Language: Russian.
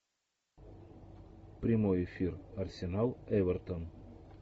прямой эфир арсенал эвертон